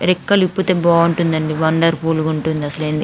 రెక్కేలు విప్పుతే బాగుంటాయి అండి వండర్ఫుల్ ఉంటుంది. --